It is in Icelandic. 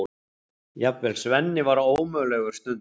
Jafnvel Svenni var ómögulegur stundum.